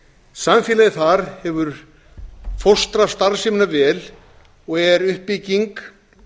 samfélagið þar hefur fóstrað starfsemina vel og er uppbygging